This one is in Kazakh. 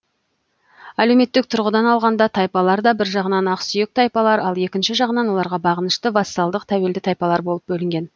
әлеуметтік тұрғыдан алғанда тайпалар да бір жағынан ақсүйек тайпалар ал екінші жағынан оларға бағынышты вассалдық тәуелді тайпалар болып бөлінген